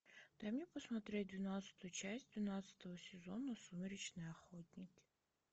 дай мне посмотреть двенадцатую часть двенадцатого сезона сумеречные охотники